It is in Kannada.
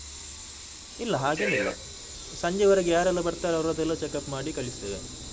ಇಲ್ಲ ಸಂಜೆವರೆಗೆ ಯಾರೆಲ್ಲಾ ಬರ್ತಾರೆ ಅವರದ್ದೆಲ್ಲಾ checkup ಮಾಡಿ ಕಳಿಸ್ತೇವೆ.